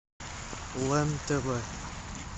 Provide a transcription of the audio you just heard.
лен тв